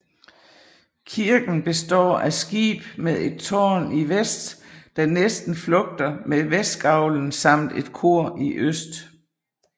Kirken består af skib med et tårn i vest der næsten flugter med vestgavlen samt et kor i øst